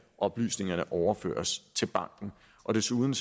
oplysningerne overføres til banken desuden